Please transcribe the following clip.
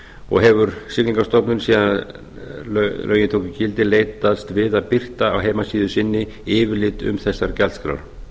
og hefur siglingastofnun síðan lögin tóku gildi leitast við að birta á heimasíðu inni yfirlit um þessar gjaldskrár